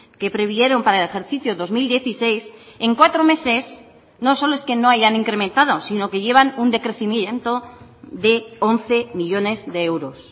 que previeron para el ejercicio dos mil dieciséis en cuatro meses no solo es que no hayan incrementado sino que llevan un decrecimiento de once millónes de euros